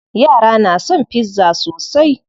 Yara na son pizza sosai.